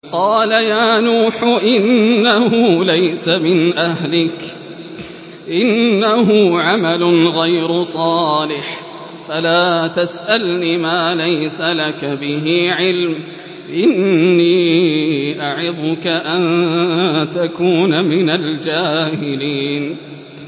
قَالَ يَا نُوحُ إِنَّهُ لَيْسَ مِنْ أَهْلِكَ ۖ إِنَّهُ عَمَلٌ غَيْرُ صَالِحٍ ۖ فَلَا تَسْأَلْنِ مَا لَيْسَ لَكَ بِهِ عِلْمٌ ۖ إِنِّي أَعِظُكَ أَن تَكُونَ مِنَ الْجَاهِلِينَ